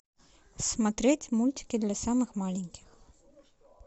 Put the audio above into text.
смотреть мультики для самых маленьких